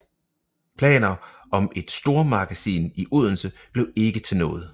Planer om et stormagasin i Odense blev ikke til noget